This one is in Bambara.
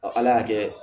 ala y'a kɛ